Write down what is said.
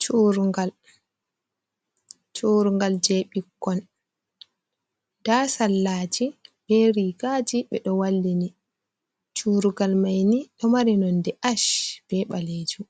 Churu'ngal, churu'ngal je ɓikkon nda sallaji ɓe rigaji ɓe ɗo wallini. Churugal mai ni do mari nonde ash be ɓalejum,